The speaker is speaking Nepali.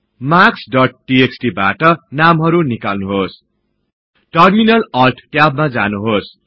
मार्क्स डोट टीएक्सटी बाट नामहरु निकाल्नुहोस्